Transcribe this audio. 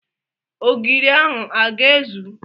Ogiri ahụ a ga-ezu?